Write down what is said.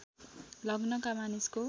लग्नका मानिसको